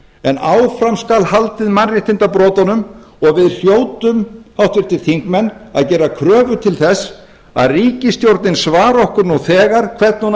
en áfram skal haldið mannréttindabrotunum og við hljótum háttvirtir þingmenn að gera kröfu til þess að ríkisstjórnin svari okkur nú þegar hvernig hún